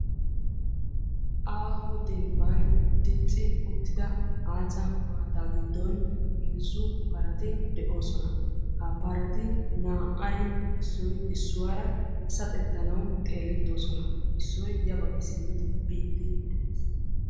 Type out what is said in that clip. Aaho dembban dicci uttida aaca maataa giddon heezzu parati de''osona. Ha parati naa''ay issoy issuwaara saxettanawu xeelettoosona. Issoy ya baggi simmidi biiddi des.